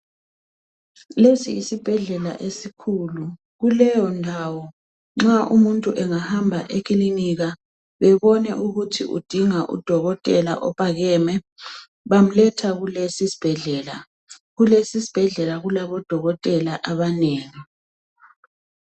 Lesi yisibhedlela esikhulu. Kuleyondawo, nxa umuntu engahamba ekilinika bebone ukuthi udinga udokotela ophakemeyo, bamletha kules' isibhedlela. Kules' isibhedlela kulabodokotela abnengi.